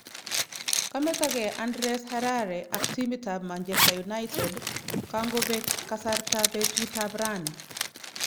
Kametake Andreas Herrera ak timitap Machester United kangopeek kasarta petut aprani